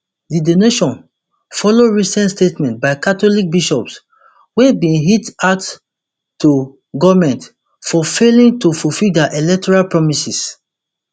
di donation follow recent statement by catholic bishops wey bin hit out to goment for failing to fulfil dia electoral promises